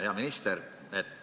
Hea minister!